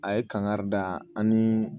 A ye kangari da an ni